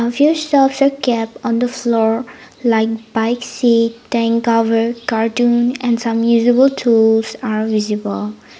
shelves also kept on the floor like bike seat and cover carton and some usable tools are visible.